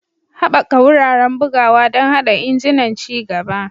Haɓaka wuraren bugawa don haɗa injunan ci gaba.